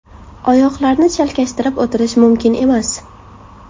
Oyoqlarni chalkashtirib o‘tirish mumkin emas.